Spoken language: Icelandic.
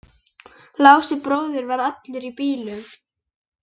Lási bróðir var allur í bílum.